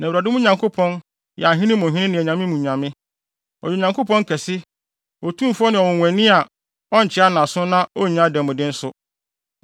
Na Awurade, mo Nyankopɔn, yɛ ahene mu hene ne anyame mu nyame. Ɔyɛ Onyankopɔn kɛse, otumfo ne ɔnwonwani a ɔnkyea nʼaso na onnye adanmude nso.